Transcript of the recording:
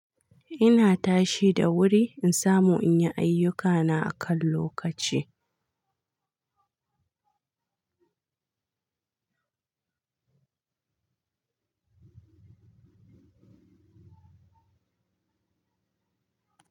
Ina tashi da wuri in samu in yi ayyukana akan lokaci.